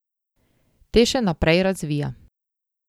Te še naprej razvija.